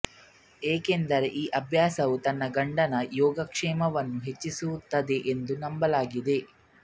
ಏಕೆಂದರೆ ಈ ಅಭ್ಯಾಸವು ತನ್ನ ಗಂಡನ ಯೋಗಕ್ಷೇಮವನ್ನು ಹೆಚ್ಚಿಸುತ್ತದೆ ಎಂದು ನಂಬಲಾಗಿದೆ